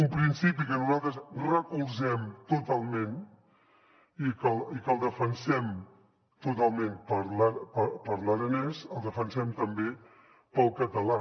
un principi que nosaltres recolzem totalment i que el defensem totalment per a l’aranès i el defensem també per al català